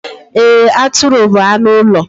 Eee, Atụrụ bu anụ ụlọ